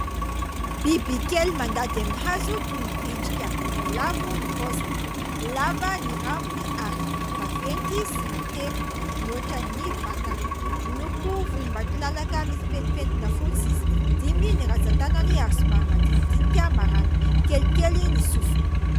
Bibikely mandady amin'ny hazo, toy ny endrika voalavo ny paoziny. Lava ny rambony ary vaventy sy matevina mihoatra ny vatany. Miloko volombatolalaka misy pentimpentina fotsy izy. Dimy ny rantsan-tanany ary somary madinidinika maranitra. Kelikely ny sofiny.